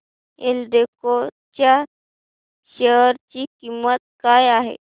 एल्डेको च्या शेअर ची किंमत काय आहे